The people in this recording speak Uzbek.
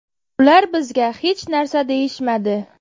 Ular bizga hech narsa deyishmadi.